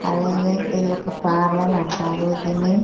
అదే అదే ఇది ఒక పార్లల్ అంటారు దీన్ని.